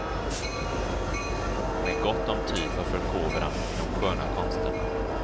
Med gott om tid för förkovran i de sköna konsterna.